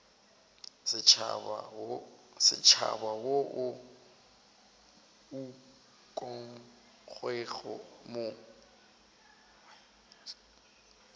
setšhaba wo o ukangwego mo